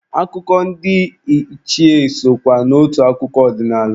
Akụkọ ndị ichie sokwa n'otu akụkọ ọdinaala.